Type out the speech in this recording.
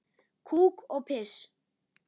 Kúk og piss.